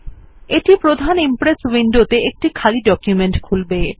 এটি প্রধান ইমপ্রেস উইন্ডোতে একটি খালি ডকুমেন্ট খুলবে